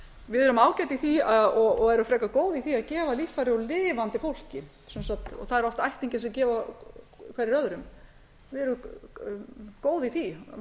við erum ágæt í því og erum frekar góð í því að gefa líffæri úr lifandi fólki á eru oft ættingjar sem gefa hverjir öðrum við erum góð í því með